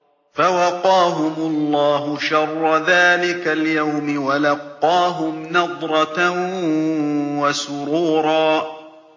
فَوَقَاهُمُ اللَّهُ شَرَّ ذَٰلِكَ الْيَوْمِ وَلَقَّاهُمْ نَضْرَةً وَسُرُورًا